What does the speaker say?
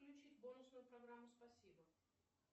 включить бонусную программу спасибо